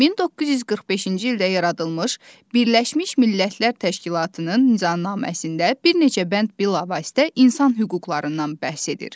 1945-ci ildə yaradılmış Birləşmiş Millətlər Təşkilatının nizamnaməsində bir neçə bənd bilavasitə insan hüquqlarından bəhs edir.